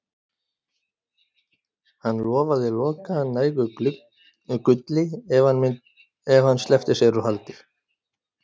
Hann lofaði Loka nægu gulli ef hann sleppti sér úr haldi.